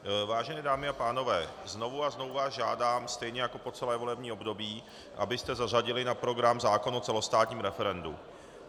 Vážené dámy a pánové, znovu a znovu vás žádám stejně jako po celé volební období, abyste zařadili na program zákon o celostátním referendu.